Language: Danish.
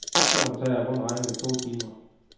Turen tager rundt regnet to timer.